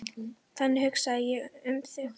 Þannig hugsaði ég um þig.